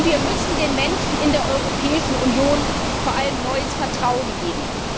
Und wir müssen den Menschen in der Europäischen Union vor allem neues Vertrauen geben.